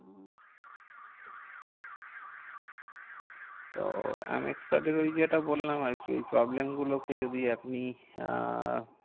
তো M X card এর ওই যেটা বললাম আরকি। ওই problem গুলোকে যদি আপনি আহ